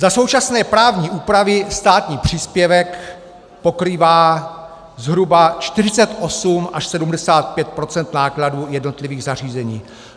Za současné právní úpravy státní příspěvek pokrývá zhruba 48 až 75 % nákladů jednotlivých zařízení.